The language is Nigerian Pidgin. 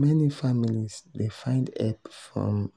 meni families dey find hep from